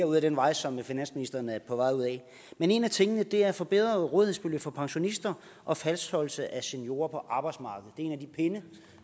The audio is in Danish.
ud ad den vej som finansministeren er på vej ud ad men en af tingene er forbedrede rådighedsbeløb for pensionister og fastholdelse af seniorer på arbejdsmarkedet det er en af de pinde